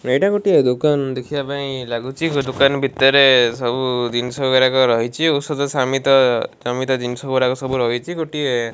ଏଇଟା ଗୋଟିଏ ଦୋକାନ ଦେଖିବା ପାଁଇ ଲାଗୁଚି ଦୋକାନ ଭିତରେ ସବୁ ଜିନଷ ଗୁରାକ ରହିଚି ଔଷଧ ସମିତ ସମିତ ଜିନଷ ଗୁରାକ ରହିଚି ଗୋଟିଏ --